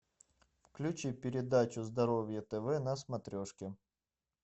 включи передачу здоровье тв на смотрешке